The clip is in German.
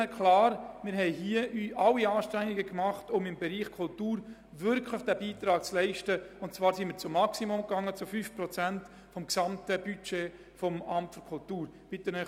Wir haben alle Anstrengungen unternommen, um im Bereich Kultur wirklich einen Beitrag zu leisten, und wir gingen bis zum Maximum, nämlich zu diesen 5 Prozent des gesamten Budgets des AK.